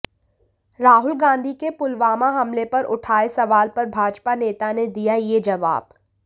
राहुल गांधी के पुलवामा हमले पर उठाए सवाल पर भाजपा नेता ने दिया ये जवाब